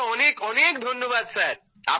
আপনাকে অনেক অনেক ধন্যবাদ স্যার